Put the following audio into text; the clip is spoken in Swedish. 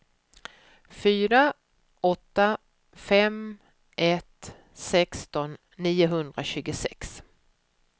fyra åtta fem ett sexton niohundratjugosex